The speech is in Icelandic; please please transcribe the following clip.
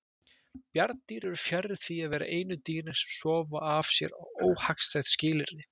Bjarndýr eru fjarri því að vera einu dýrin sem sofa af sér óhagstæð skilyrði.